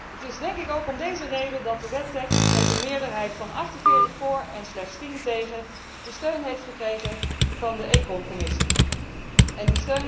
Het is denk ik ook om deze reden dat de wettekst met een meerderheid van 48 stemmen voor en slechts 10 tegen de steun heeft gekregen van de Commissie economische zaken.